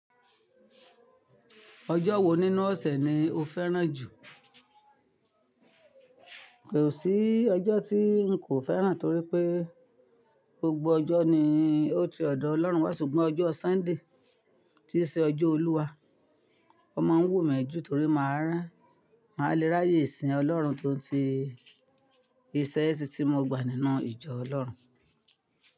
Ọjọ́ wo nínú ọ̀sẹ̀ ni o fẹ́ràn jù? Kò sí ọjọ́ tí ń kò fẹ́ràn torí pé gbogbo ọjọ́ ni ó ti ọ̀dọ̀ Ọlọ́run wá ṣùgbọ́n ọjọ́ Súnday tí n ṣe ọjọ́ Olúwa, o máa ń wù mí jù torí máa rá máa léráyé ìsìn Ọlọ́run tó ń ti, ìṣe iṣin tí mo gbà nínú ìjọ Ọlọ́run.